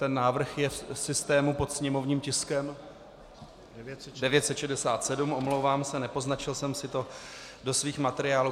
Ten návrh je v systému pod sněmovním tiskem... ) 967, omlouvám se, nepoznačil jsem si to do svých materiálů.